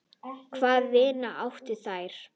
Hvaða vini áttu þær?